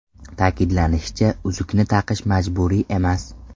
Ta’kidlanishicha, uzukni taqish majburiy emas.